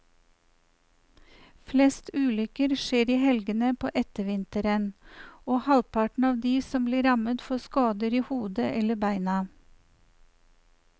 Flest ulykker skjer i helgene på ettervinteren, og halvparten av de som blir rammet får skader i hodet eller beina.